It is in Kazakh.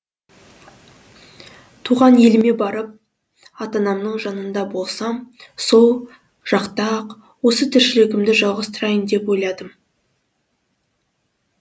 туған еліме барып ата анамның жанында болсам сол жақта ақ осы тіршілігімді жалғастырайын деп ойладым